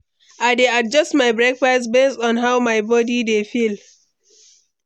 I dey adjust my breakfast based on how my body dey feel.